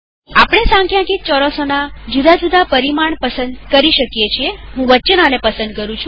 આપણે સંખ્યાંકિત ચોરસોના જુદા જુદા પરિમાણ પસંદ કરી શકીએહું વચ્ચેના ને પસંદ કરું છું